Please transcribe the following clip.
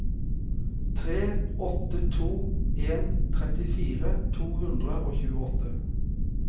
tre åtte to en trettifire to hundre og tjueåtte